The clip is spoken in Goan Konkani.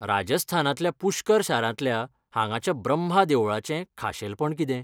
राजस्थानांतल्या पुष्कर शारांतल्या हांगाच्या ब्रम्हा देवळाचें खाशेलपण कितें ?